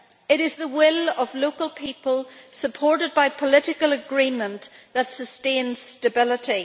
It is the will of local people supported by political agreement that sustains stability.